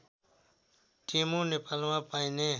टेमु नेपालमा पाइने